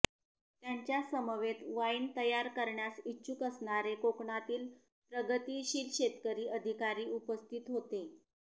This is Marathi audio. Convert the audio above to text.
त्यांच्यासमवेत वाईन तयार करण्यास इच्छुक असणारे कोकणातील प्रगतिशील शेतकरी अधिकारी उपस्थित होते